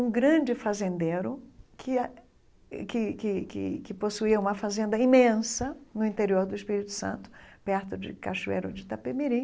Um grande fazendeiro que ah que que que que possuía uma fazenda imensa no interior do Espírito Santo, perto de Cachoeiro de Itapemirim,